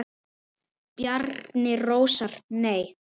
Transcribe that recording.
Bjarni Rósar Nei.